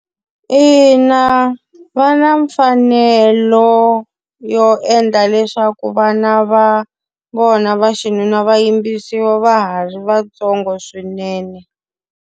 Ina va na mfanelo yo endla leswaku vana va vona va xinuna va yimbisiwa va ha ri vantsongo swinene.